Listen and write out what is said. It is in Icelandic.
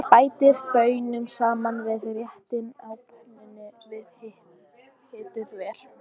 Bætið baununum saman við réttinn á pönnunni og hitið vel.